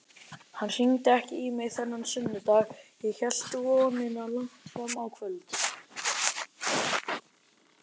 Hann hringdi ekki í mig þennan sunnudag, ég hélt í vonina langt fram á kvöld.